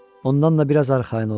Ondan da biraz arxayın ol.